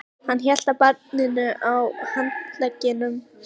Hann hélt á barninu á handleggnum.